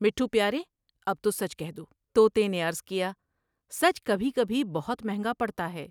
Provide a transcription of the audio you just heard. مٹھو پیارے اب تو سچ کہہ دو توتے نے عرض کیا '' سچ بھی بھی بہت مہنگا پڑتا ہے ۔